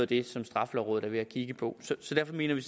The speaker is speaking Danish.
det straffelovrådet er ved at kigge på derfor mener vi